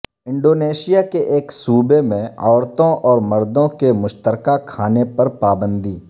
Indonesia کے ایک صوبے میں عورتوں اور مردوں کے مشترکہ کھانے پر پابندی